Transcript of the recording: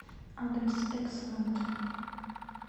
адрес экселент